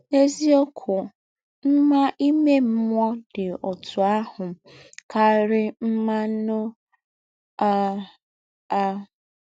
N’èzí̄ǒkwụ́, mmá ìmè mmụ́ọ́ dị́ ọ̌tụ̣ àhụ́ kárí̄ mmá ànụ́ á. á.